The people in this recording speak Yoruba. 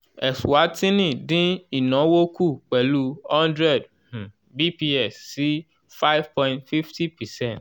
eswatini dín ìnáwó kù pelu one hundred um bps sí five point fifty percent